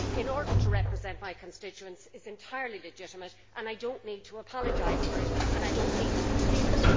in order to represent my constituents are entirely legitimate, and I do not need to apologise for them and I do not need to conceal them.